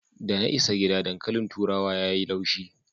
Da na isa gida, dankalin turawa ya yi laushi.